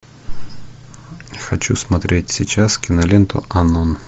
хочу смотреть сейчас киноленту анон